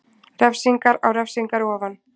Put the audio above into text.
Refsingar á refsingar ofan